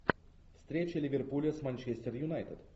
встреча ливерпуля с манчестер юнайтед